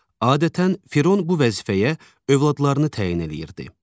Adətən, Firon bu vəzifəyə övladlarını təyin eləyirdi.